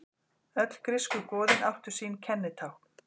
Öll grísku goðin áttu sín kennitákn.